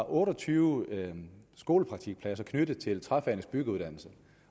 otte og tyve skolepraktikpladser knyttet til træfagenes byggeuddannelse